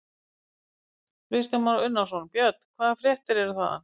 Kristján Már Unnarsson: Björn, hvaða fréttir eru þaðan?